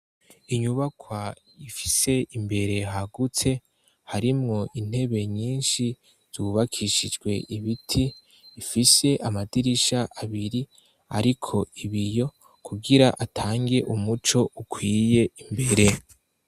Inyubakwa ifise imbere hagutse, harimwo intebe nyinshi zubakishijwe ibiti ,ifise amadirisha abiri ariko ibiyo kugira atange umuco ukwiye imbere.